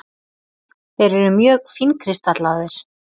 Þeir eru mjög fínkristallaðir.